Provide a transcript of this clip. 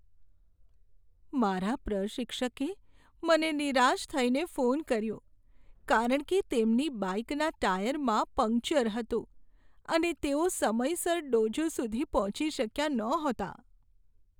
મારા પ્રશિક્ષકે મને નિરાશ થઈને ફોન કર્યો કારણ કે તેમની બાઇકનાં ટાયરમાં પંક્ચર હતું અને તેઓ સમયસર ડોજો સુધી પહોંચી શક્યા નહોતા.